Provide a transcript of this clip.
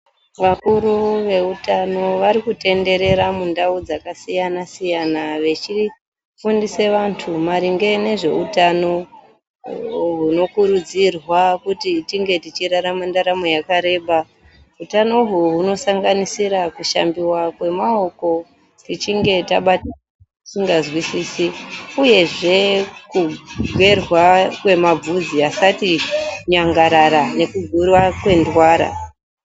Vakuru veutano varikutenderera mundau dzakasiyana siyana vechifundise vantu maringe nezveutano hunokurudzirwa kuti tinge tichirarama ndaramo yakareba , hutano uhu hunosanganisira kushambiwa kwemaoko tichinge tabata zvatisingazwisisi uyehe kugerwa kwemavhudzi asati nyangarara nekugurwa kwenzara.